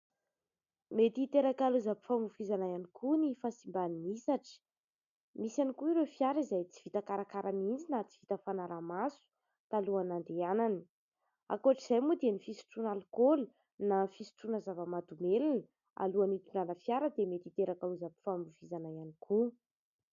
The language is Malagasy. Mety hiteraka lozam-pifamoivoizana ihany koa ny fahasimban'ny hisatra, misy ihany koa ireo fiara izay tsy vita karakara mihitsy na tsy vita fanaraha-maso talohan'ny nandehanany. Ankoatr'izay moa dia ny fisotroana alikaola na fisotroana zava-mahadomelina alohan'ny hitondrana fiara dia mety hiteraka lozam-pifamoivoizana ihany koa.